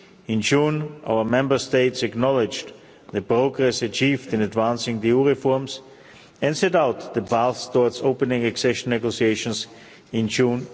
In June, our Member States acknowledged the progress achieved in advancing the EU reforms and set out the path towards opening accession negotiations in June